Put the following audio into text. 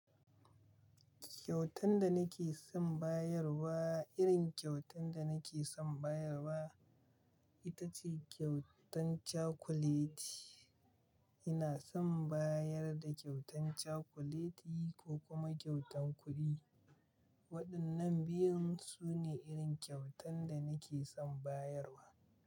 Kyautan da nake son bayarwa, irin kyautan da nake son bayarwa ita ce kyautan cakuleti. Ina son bayar da kyautan cakuleti ko kuma kyautan kuɗi. Waɗannan biyun su ne irin kyautan da nake son bayarwa.